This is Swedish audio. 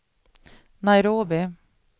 Nairobi